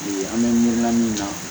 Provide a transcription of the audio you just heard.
E an bɛ miiri la min na